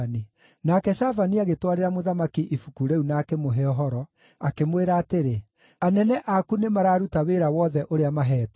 Nake Shafani agĩtwarĩra mũthamaki ibuku rĩu na akĩmũhe ũhoro, akĩmwĩra atĩrĩ, “Anene aku nĩmararuta wĩra wothe ũrĩa maheetwo.